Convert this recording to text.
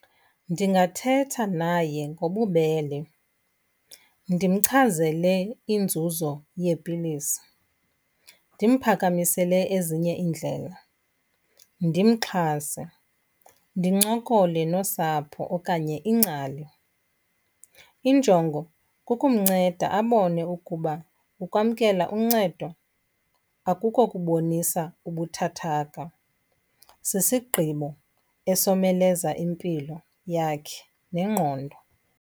Ndingathetha naye ngobubele ndimchazele inzuzo yeepilisi, ndimphakamisele ezinye iindlela, ndimxhase. Ndincokole nosapho okanye ingcali. Injongo kukumnceda abone ukuba ukwamkela uncedo akuko kubonisa ubuthathaka, sisigqibo esomeleza impilo yakhe nengqondo.